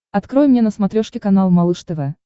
открой мне на смотрешке канал малыш тв